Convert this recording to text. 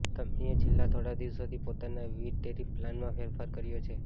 કંપનીએ છેલ્લા થોડા દિવસોથી પોતાના વિવિધ ટેરિફ પ્લાનમાં ફેરફાર કર્યા છે